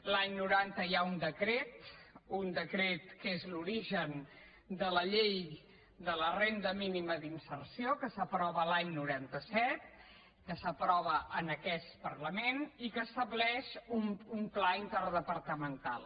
l’any noranta hi ha un decret un decret que és l’origen de la llei de la renda mínima d’inserció que s’aprova l’any noranta set que s’aprova en aquest parlament i que estableix un pla interdepartamental